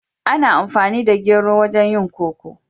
Ana amfani da gero wajen yin koko.